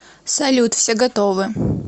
салют все готовы